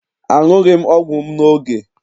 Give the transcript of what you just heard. Aṅughị m ọgwụ m n'oge.